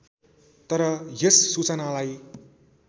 तर यस सूचनालाई